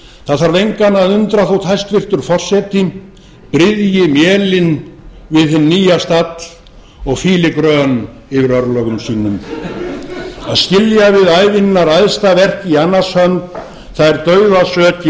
það þarf engan að undra þótt hæstvirtur forseti bryðji mélin við hinn nýja stall og fýli grön yfir örlögum sínum að skilja við ævinnar æðsta verk í annars hönd það er